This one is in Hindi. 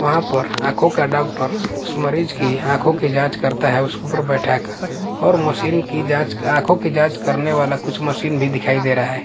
वहां पर आंखों का डॉक्टर उस मरीज की आंखों की जांच करता है उस के ऊपर बैठा कर और मशीन की जांच आंखों की जांच करने वाला कुछ मशीन भी दिखाई दे रहा है।